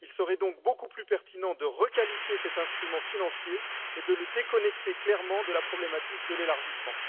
Il serait donc beaucoup plus pertinent de requalifier cet instrument financier et de le déconnecter clairement de la problématique de l'élargissement.